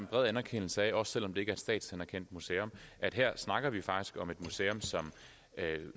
bred anerkendelse af også selv om det ikke er et statsanerkendt museeum at her snakker vi faktisk om et museum som